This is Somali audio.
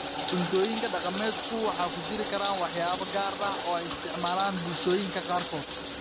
Cuntooyinka dhaqameedku waxay ku jiri karaan waxyaabo gaar ah oo ay isticmaalaan bulshooyinka qaarkood.